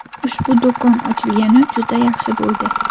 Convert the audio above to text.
Ushbu do‘kon ochilgani juda yaxshi bo‘ldi.